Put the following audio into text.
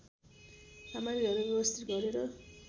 सामग्रीहरू व्यवस्थित गरेर